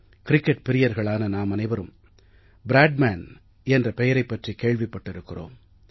cricket பிரியர்களான நாமனைவரும் Bradman என்ற பெயரைப் பற்றிக் கேள்விப்பட்டிருக்கிறோம்